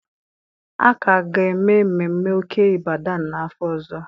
A ka ga-eme mmemme Oke Ibadan n'afọ ọzọ